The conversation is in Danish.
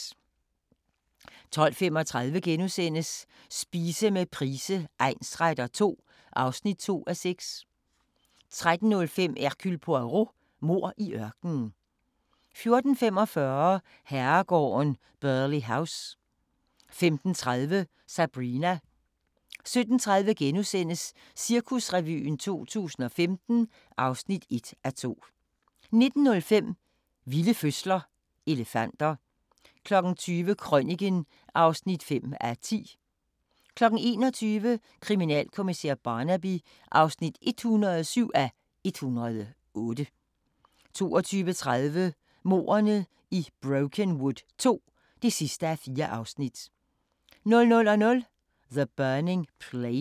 12:35: Spise med Price egnsretter II (2:6)* 13:05: Hercule Poirot: Mord i ørkenen 14:45: Herregården Burghley House 15:30: Sabrina 17:30: Cirkusrevyen 2015 (1:2)* 19:05: Vilde fødsler - elefanter 20:00: Krøniken (5:10) 21:00: Kriminalkommissær Barnaby (107:108) 22:30: Mordene i Brokenwood II (4:4) 00:00: The Burning Plain